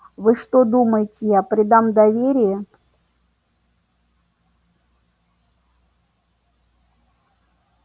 вы что думаете я предам доверие